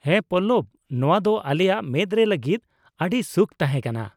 ᱦᱮᱸ ᱯᱚᱞᱞᱚᱵ ! ᱱᱚᱶᱟ ᱫᱚ ᱟᱞᱮᱭᱟᱜ ᱢᱮᱫ ᱨᱮ ᱞᱟᱹᱜᱤᱫ ᱟᱹᱰᱤ ᱥᱩᱠᱷ ᱛᱟᱦᱮᱸ ᱠᱟᱱᱟ ᱾